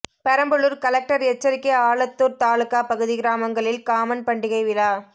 Perambalur collector எச்சரிக்கை ஆலத்தூர் தாலுகா பகுதி கிராமங்களில் காமன் பண்டிகை விழா